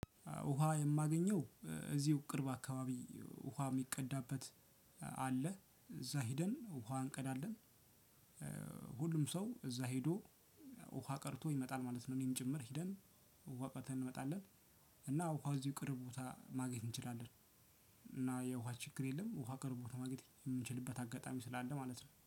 ውሃ የማገኘው እዚሁ ቅርብ አካባቢ ውሃ የሚቀዳበት አለ እዛ ሄደን ውሃ አንቀዳለን። ሁሉም ሰው እዛ ሄዶ ውሃ ቀድቶ ይመጣል ማለት ነው። እኔም ጭምር ሄደን ውሃ ቀድተን እንመጣለን። እና ውሃ እዚሁ ቅርብ ቦታ ማግኘት እንችላለን። እና የውሃ ችግር የለም ውሃ ቅርቡ ለማግኘት የምንችልበት አጋጣሚ ስላለ ማለት ነው